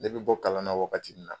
E be bɔ kalan na wagati min na